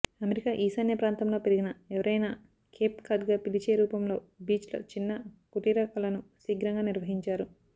America ఈశాన్య ప్రాంతంలో పెరిగిన ఎవరైనా కేప్ కాడ్గా పిలిచే రూపంలో బీచ్లో చిన్న కుటీర కలను శీఘ్రంగా నిర్వహించారు